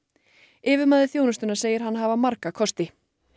yfirmaður þjónustunnar segir hana hafa marga kosti